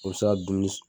O bɛ se ka dumuni